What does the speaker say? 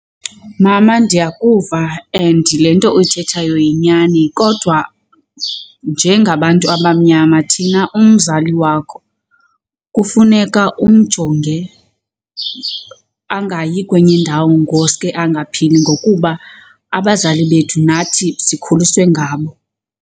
Mama ndiyakuva and le nto uyithethayo yinyani kodwa njengabantu abamnyama thina umzali wakho kufuneka umjonge angayi kwenye indawo ngosuke angaphili ngokuba abazali bethu nathi sikhuliswe ngabo.